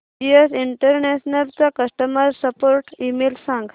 GS International चा customer support email सांग